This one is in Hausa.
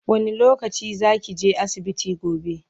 wani lokaci zakije asibiti gobe?